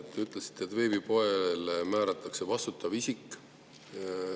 Te ütlesite, et veebipoele määratakse vastutav isik.